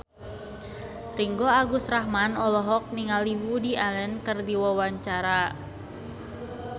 Ringgo Agus Rahman olohok ningali Woody Allen keur diwawancara